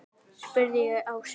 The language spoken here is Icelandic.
spurði ég Ásu.